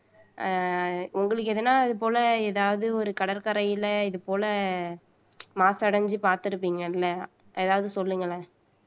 ஆஹ் உங்களுக்கு எதுனா அது போல ஏதாவது ஒரு கடற்கரையில இது போல மாசடைஞ்சு பார்த்திருப்பீங்கல ஏதாவது சொல்லுங்களேன்